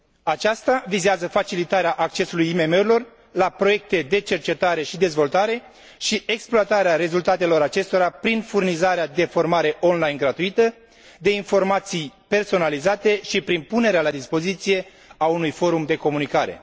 Aceasta vizează facilitarea accesului IMM urilor la proiecte de cercetare și dezvoltare și exploatarea rezultatelor acestora prin furnizarea de formare online gratuită, de informații personalizate și prin punerea la dispoziție a unui forum de comunicare.